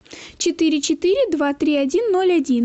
четыре четыре два три один ноль один